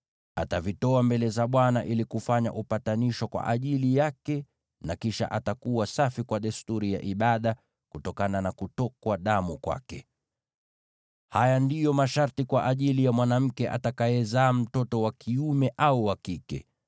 Atavitoa mbele za Bwana ili kufanya upatanisho kwa ajili yake, na kisha atakuwa safi kwa desturi ya ibada kutokana na kutokwa damu kwake. “ ‘Haya ndiyo masharti kwa ajili ya mwanamke atakayezaa mtoto wa kiume au wa kike.